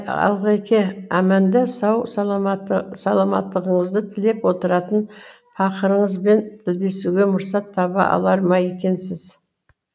алғеке әманда сау саламаттығыңызды тілеп отыратын пақырыңызбен тілдесуге мұрсат таба алар ма екенсіз